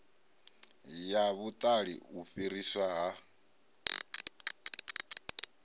ya vhuṱali u fhiriswa ha